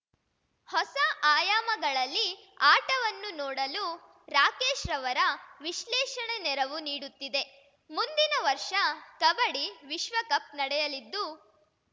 ಹೊಸ ಆಯಾಮಗಳಲ್ಲಿ ಆಟವನ್ನು ನೋಡಲು ರಾಕೇಶ್‌ರವರ ವಿಶ್ಲೇಷಣೆ ನೆರವು ನೀಡುತ್ತಿದೆ ಮುಂದಿನ ವರ್ಷ ಕಬಡ್ಡಿ ವಿಶ್ವಕಪ್‌ ನಡೆಯಲಿದ್ದು